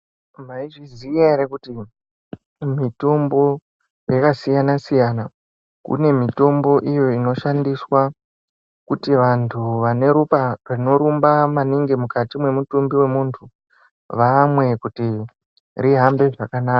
Mwaizviziya ere kuti mitombo yakasiyana-siyana. Kune mitombo iyo inoshandiswa kuti vanthu vane ropa rinorumba maningi mukati mwemutumbi wemunthu vamwe kuti rihambe zvakanaka.